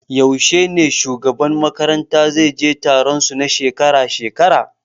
Yaushe ne shugaban makaranta zai je taron su na shekara-shekara?